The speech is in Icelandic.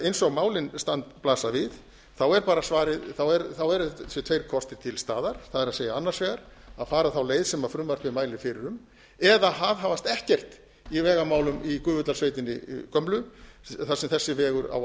eins og málin blasa við eru bara þessir tveir kostir til staðar það er annars vegar að fara á leið sem frumvarpið mælir fyrir um eða að aðhafast ekkert í vegamálum í gufudalssveitinni gömlu þar sem þessi vegur á að liggja